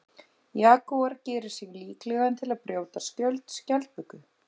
Jagúar gerir sig líklegan til að brjóta skjöld skjaldböku.